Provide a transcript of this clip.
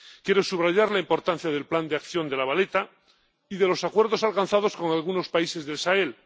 Quiero subrayar la importancia del Plan de Acción de La Valeta y de los acuerdos alcanzados con algunos países del Sahel.